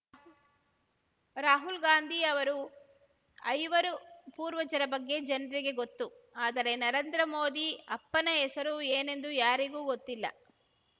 ರಾಹುಲ್‌ ಗಾಂಧಿ ಅವರ ಐವರು ಪೂರ್ವಜರ ಬಗ್ಗೆ ಜನ್ರಿಗೆ ಗೊತ್ತು ಆದರೆ ನರೇಂದ್ರ ಮೋದಿ ಅಪ್ಪನ ಹೆಸರು ಏನೆಂದು ಯಾರಿಗೂ ಗೊತ್ತಿಲ್ಲ